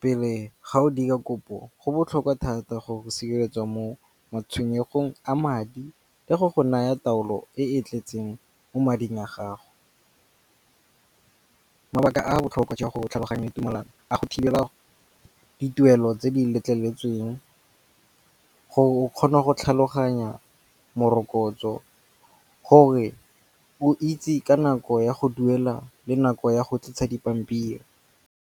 Pele ga o dira kopo go botlhokwa thata go sireletswa mo matshwenyego a madi le go go naya taolo e e tletseng mo mading a gago. Mabaka a botlhokwa jwa go tlhaloganya tumelano a go thibela dituelo tse di letleletsweng. Go kgona go tlhaloganya morokotso gore o itse ka nako ya go duela le nako ya go tlisa dipampiri.